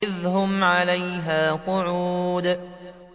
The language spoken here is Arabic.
إِذْ هُمْ عَلَيْهَا قُعُودٌ